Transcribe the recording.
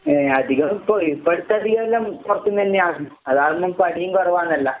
ഏഹ് അധികം ഇപ്പൊ ഇപ്പൊഴത്തധികേല്ലാം പൊറത്ത്ന്നന്നെയാന്ന്. അതാവുമ്പം പണീം കൊറവാണല്ലാ.